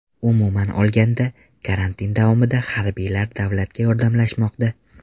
Umuman olganda, karantin davomida harbiylar davlatga yordamlashmoqda.